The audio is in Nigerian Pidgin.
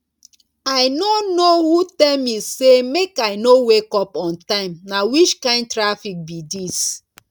i no know who tell me say make i no wake up on time na which kin traffic be dis